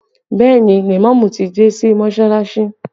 Bẹẹ ni, lèmọ́mù ti dé sí Mọsalasi